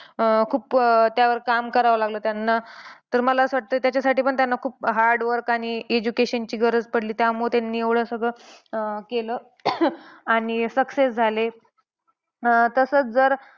अं खूप अं त्यावर काम करावं लागलं त्यांना. तर मला असं वाटतं की त्याच्यासाठी त्यांना खूप hard work आणि education ची गरज पडली. त्यामुळे त्यांनी एवढे सगळं केलं आणि success झाले. अह तसंच जर